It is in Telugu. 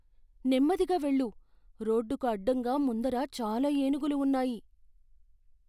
నెమ్మదిగా వెళ్ళు. రోడ్డుకు అడ్డంగా ముందర చాలా ఏనుగులు ఉన్నాయి.